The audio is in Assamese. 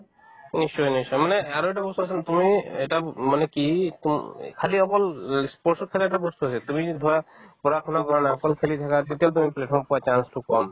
নিশ্চয় নিশ্চয় মানে চোৱাচোন তুমি এটা মানে কি তো খালি অকল ই sports ত খালি এটা বস্তু আছে তুমি যদি ধৰা পঢ়া-শুনা কৰা নাই অকল খেলি থাকে তেতিয়াও তুমি platform পোৱা chance তো কম